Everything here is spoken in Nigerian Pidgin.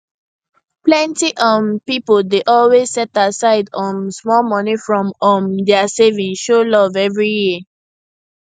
plenty um pipo dey always set aside um small money from um dia savings show love every year